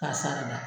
K'a sarada